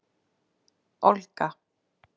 Olga